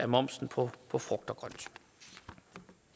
momsen på på frugt